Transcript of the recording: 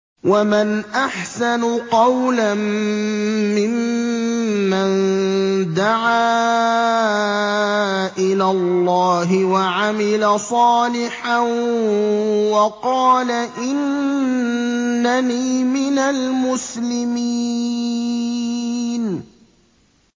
وَمَنْ أَحْسَنُ قَوْلًا مِّمَّن دَعَا إِلَى اللَّهِ وَعَمِلَ صَالِحًا وَقَالَ إِنَّنِي مِنَ الْمُسْلِمِينَ